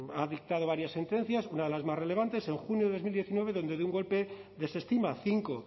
ha dictado varias sentencias una de las más relevantes en junio de dos mil diecinueve donde de un golpe desestima cinco